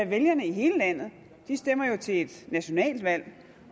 vælgerne i hele landet stemmer jo til et nationalt valg